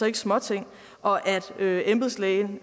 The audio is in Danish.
ikke småting og at embedslægen